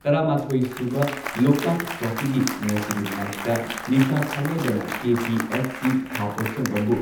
ꯇꯔꯥꯃꯥꯊꯣꯏ ꯁꯨꯕ ꯂꯣꯛꯇꯥꯛ ꯇ꯭ꯔꯣꯐꯤꯒꯤ ꯉꯁꯤꯒꯤ ꯃꯦꯆꯇ ꯅꯤꯁꯥ ꯊꯥꯡꯃꯩꯕꯟꯗꯅ ꯀꯦ.ꯄꯤ.ꯑꯦꯐ.ꯁꯤ ꯈꯥ ꯄꯣꯠꯁꯪꯕꯝꯕꯨ